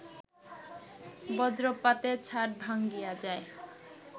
বজ্রপাতে ছাদ ভাঙ্গিয়া যায়